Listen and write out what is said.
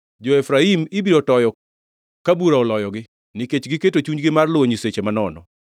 Jo-Efraim ibiro toyo ka bura oloyogi, nikech giketo chunygi mar luwo nyiseche manono.